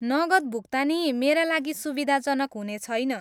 नगद भुक्तानी मेरा लागि सुविधाजनक हुनेछैन।